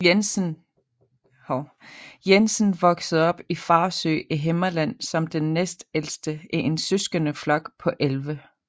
Jensen voksede op i Farsø i Himmerland som den næstældste i en søskendeflok på 11